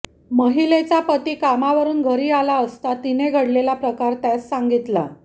महिलेचा पती कामावरून घरी आला असता तिने घडलेला प्रकार त्यास सांगितला